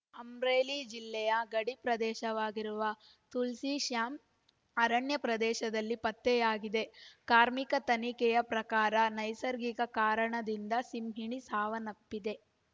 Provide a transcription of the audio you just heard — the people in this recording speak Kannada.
ಅಮ್ರೇಲಿ ಜಿಲ್ಲೆಯ ಗಡಿ ಪ್ರದೇಶವಾಗಿರುವ ತುಲ್ಸಿಶ್ಯಾಂ ಅರಣ್ಯ ಪ್ರದೇಶದಲ್ಲಿ ಪತ್ತೆಯಾಗಿದೆ ಕಾರ್ಮಿಕ ತನಿಖೆಯ ಪ್ರಕಾರ ನೈಸರ್ಗಿಕ ಕಾರಣದಿಂದ ಸಿಂಹಿಣಿ ಸಾವನ್ನಪ್ಪಿದೆ